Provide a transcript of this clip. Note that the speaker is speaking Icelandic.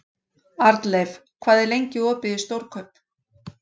Arnleif, hvað er lengi opið í Stórkaup?